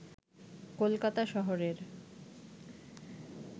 কলকাতা শহরের